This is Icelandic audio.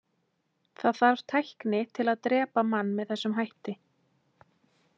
Það þarf tækni til að drepa mann með þessum hætti.